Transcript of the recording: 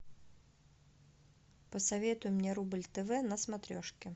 посоветуй мне рубль тв на смотрешке